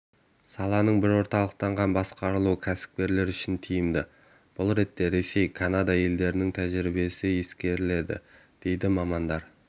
саланың бір орталықтан басқарылуы кәсіпкерлер үшін тиімді бұл ретте ресей канада елдерінің тәжірибесі ескеріледі дейді мамандар